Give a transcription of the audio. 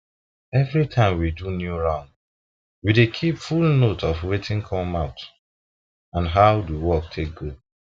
every every time we do new round we dey keep full note of wetin come out and how the work take go